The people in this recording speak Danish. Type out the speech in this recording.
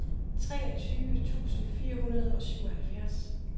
treogtyve tusind fire hundrede og syvoghalvfjerds